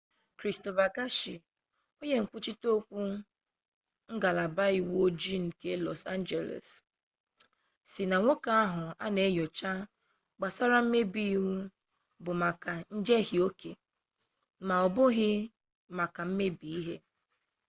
kristofa gashia onye nkwuchite okwu ngalaba uwe ojii nke lọs anjeles sị na nwoke ahụ nke a na enyocha gbasara mmebi iwu bụ maka njehie oke m'ọbụghị maka mmebi ihe